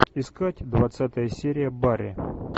искать двадцатая серия барри